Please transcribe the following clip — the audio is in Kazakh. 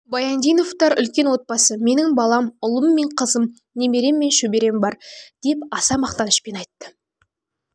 баяндиновтар үлкен отбасы менің балам ұлым мен қызым немерем мен шөберем бар деп аса мақтанышпен айтты